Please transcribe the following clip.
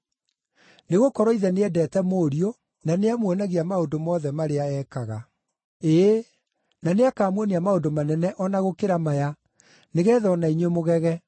Nĩgũkorwo Ithe nĩendete Mũriũ, na nĩamuonagia maũndũ mothe marĩa ekaga, Ĩĩ, na nĩakamuonia maũndũ manene o na gũkĩra maya, nĩgeetha o na inyuĩ mũgege.